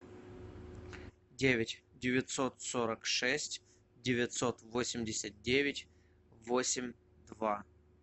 девять девятьсот сорок шесть девятьсот восемьдесят девять восемь два